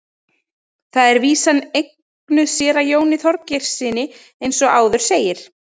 Þar er vísan eignuð séra Jóni Þorgeirssyni eins og áður segir.